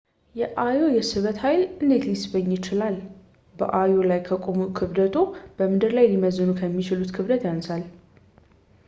የአዮ የስበት ኃይል እንዴት ሊስበኝ ይችላል በአዮ ላይ ከቆሙ ክብደትዎ በምድር ላይ ሊመዝኑ ከሚችሉት ክብደቱ ያንሳል